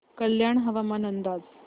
कल्याण हवामान अंदाज